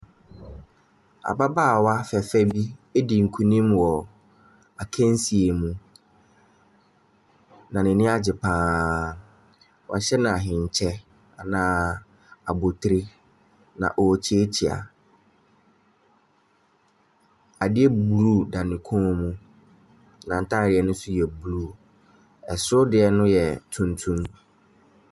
Ababaawa fɛɛfɛɛ bi adi nkunim wɔ akansie mu. Na n'ani agye pa ara. Wɔahyɛ no ahenkyɛ, anaa abotire, na ɔrekyeakyea. Adeɛ blue da ne kɔn mu. N'atadeɛ no nso yɛ blue. Soro deɛ no yɛ tuntum.